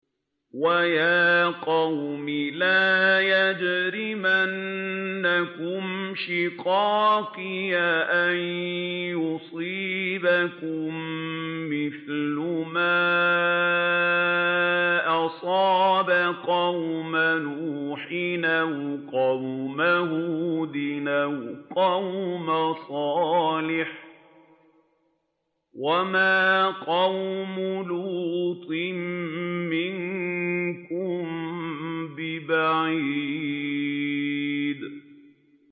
وَيَا قَوْمِ لَا يَجْرِمَنَّكُمْ شِقَاقِي أَن يُصِيبَكُم مِّثْلُ مَا أَصَابَ قَوْمَ نُوحٍ أَوْ قَوْمَ هُودٍ أَوْ قَوْمَ صَالِحٍ ۚ وَمَا قَوْمُ لُوطٍ مِّنكُم بِبَعِيدٍ